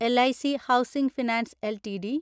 L I C housing finance LTD